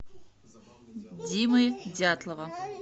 димы дятлова